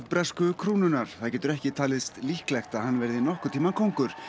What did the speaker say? bresku krúnunnar það getur ekki talist líklegt að hann verði nokkurn tímann kóngur